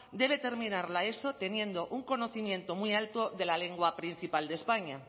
debe terminar la eso teniendo un conocimiento muy alto de la lengua principal de españa